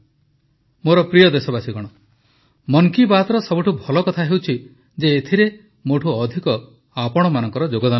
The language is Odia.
ମୋର ପ୍ରିୟ ଦେଶବାସୀଗଣ ମନ୍ କୀ ବାତ୍ର ସବୁଠୁ ଭଲ କଥା ହେଉଛି ଯେ ଏଥିରେ ମୋଠୁ ଅଧିକ ଆପଣମାନଙ୍କର ଯୋଗଦାନ ରହେ